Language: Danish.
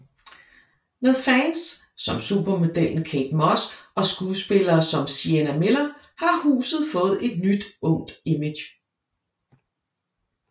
Med fans som supermodellen Kate Moss og skuespillere som Sienna Miller har huset fået et nyt ungt image